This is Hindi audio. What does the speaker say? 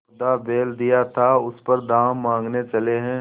मुर्दा बैल दिया था उस पर दाम माँगने चले हैं